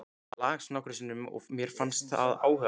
Ég las það nokkrum sinnum og mér fannst það áhugavert.